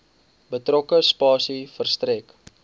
betrokke spasie verstrek